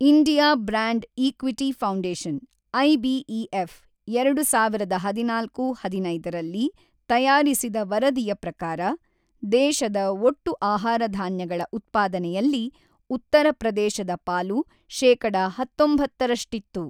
India brand equity foundation (IBEF) ಎರಡು ಸಾವಿರದ ಹದಿನಾಲ್ಕು-ಹದಿನೈದರಲ್ಲಿ ತಯಾರಿಸಿದ ವರದಿಯ ಪ್ರಕಾರ, ದೇಶದ ಒಟ್ಟು ಆಹಾರ ಧಾನ್ಯಗಳ ಉತ್ಪಾದನೆಯಲ್ಲಿ ಉತ್ತರ ಪ್ರದೇಶದ ಪಾಲು ಶೇಕಡಾ ಹತ್ತೊಂಬತ್ತರಷ್ಟಿತ್ತು.